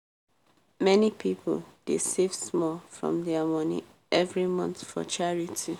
many people dey save small from their money every month for charity.